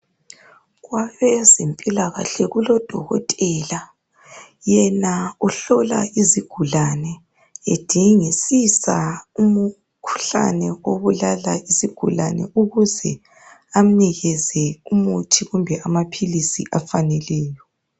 Kwabezempilakahle kulodokotela yena uhlola isigulane ,edingisisa umkhuhlane obulala isigulane. Ukuze amnikeze umuthi kumbe amaphilisi afaneleyo.